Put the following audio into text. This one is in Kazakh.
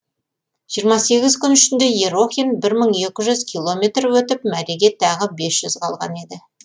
жиырма сегіз күн ішінде ерохин бір мың екі жүз километр өтіп мәреге тағы бес жүз қалған еді